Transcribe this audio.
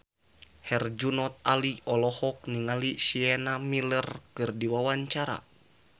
Herjunot Ali olohok ningali Sienna Miller keur diwawancara